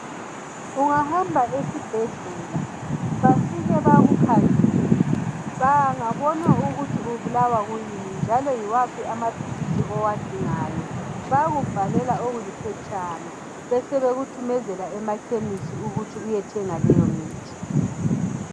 Ungahamba esibhedlela bafike bakukhangele bengabona ukuthi ubulawa yini njalo yiwuphi amaphilisi owadingayo bayakubhalela okuphetshana bebesebekuthumezela emaphamacy ukuyathenga lowomuthi